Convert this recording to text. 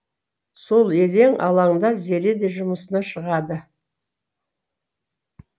сол елең алаңда зере де жұмысына шығады